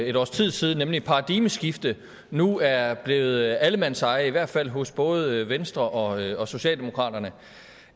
et års tid siden nemlig paradigmeskifte nu er blevet allemandseje i hvert fald hos både venstre og og socialdemokratiet